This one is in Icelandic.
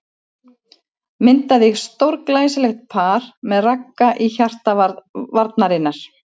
Myndaði stórglæsilegt par með Ragga í hjarta varnarinnar.